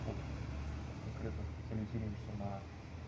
тут мы конкретно специализируемся на